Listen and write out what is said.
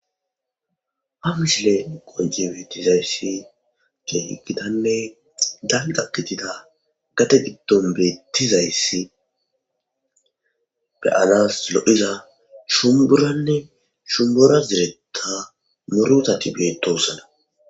amisle qonje beettizayssi gee gidanne dayda gitida gate giddon beettizayssi beyanas lo7iza shumburanne shumbura ziretta murutati beetosana